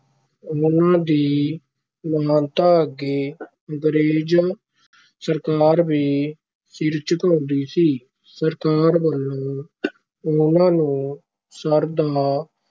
ਉਹਨਾਂ ਦੀ ਮਹਾਨਤਾ ਅੱਗੇ ਅੰਗਰੇਜ਼ ਸਰਕਾਰ ਵੀ ਸਿਰ ਝੁਕਾਉਂਦੀ ਸੀ, ਸਰਕਾਰ ਵਲੋਂ ਉਹਨਾਂ ਨੂੰ ਸਰ ਦਾ